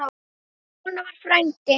Svona var frændi.